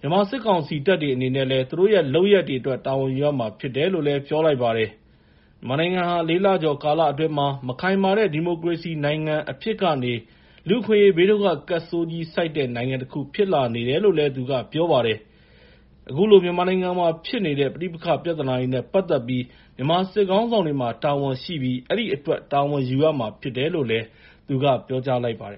မြန်မာစစ်ကောင်စီတပ်တွေ အနေနဲ့ သူတို့ရဲ့ လုပ်ရပ်တွေအတွက် တာဝန်ယူရမှာ ဖြစ်တယ်လို့လည်း ပြောလိုက်ပါတယ်။ မြန်မာနိုင်ငံဟာ ၄ လကျော် ကာလအတွင်းမှာပဲ မခိုင်မာတဲ့ ဒီမိုကရေစီနိုင်ငံ အဖြစ်ကနေ လူ့အခွင့်အရေး ဘေးဒုက္ခကပ်ဆိုးကြီး ဆိုက်တဲ့ နိုင်ငံတခု ဖြစ်လာနေတယ်လို့လည်း သူကပြောပါတယ်။ အခုလို မြန်မာနိုင်ငံမှာဖြစ်နေတဲ့ ပဋိပက္ခ ပြဿနာနဲ့ ပတ်သက်ပြီး မြန်မာစစ်ခေါင်းဆောင်တွေမှာ တာဝန်ရှိပြီး အဲဒီအတွက် တာဝန်ယူရမှာ ဖြစ်တယ်လို့လည်း သူကပြောလိုက်ပါတယ်